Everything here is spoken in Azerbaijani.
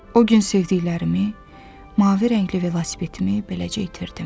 O gün sevdiklərimi, mavi rəngli velosipedimi beləcə itirdim.